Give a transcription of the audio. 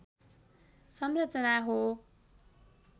संरचना हो